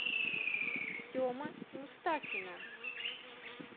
семы мустафина